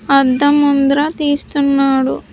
అద్ద ముంద్ర తీస్తున్నాడు.